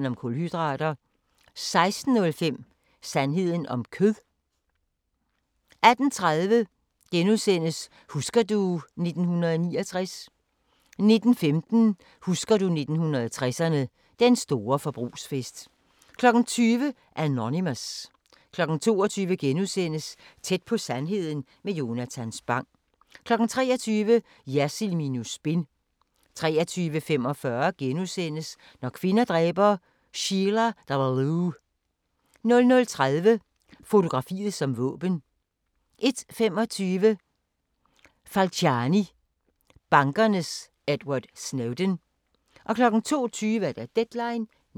16:05: Sandheden om kød 18:30: Husker du ... 1969 * 19:15: Husker du 1960'erne – Den store forbrugsfest 20:00: Anonymous 22:00: Tæt på sandheden med Jonatan Spang * 23:00: Jersild minus spin 23:45: Når kvinder dræber – Sheila Davalloo * 00:30: Fotografiet som våben 01:25: Falciani – bankernes Edward Snowden 02:20: Deadline Nat